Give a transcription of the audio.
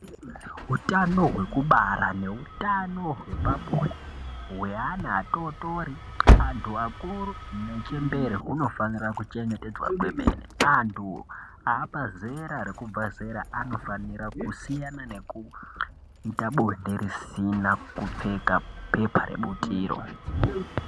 Utano hwekubara nehutano hwepabonde, hweana atotori, antu akuru nechembere hunofanira kuchetedzwa kwemene. Antu aapazera rekubva zera anofanira kusiyana nekuita bonde risina kupfeka bepa rebutiro.